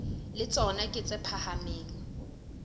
le tsona ke tse phahameng